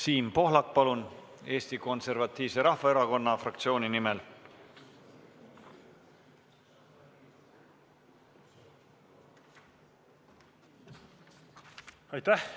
Siim Pohlak Eesti Konservatiivse Rahvaerakonna fraktsiooni nimel, palun!